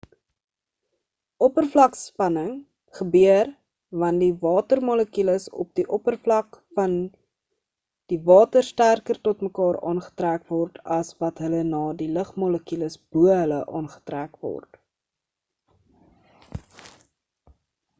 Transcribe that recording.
oppervlakspanning gebeur want die water molekules op die oppervlak van die water sterker tot mekaar aangetrek word as wat hul na die lugmolekules bo hulle aangetrek word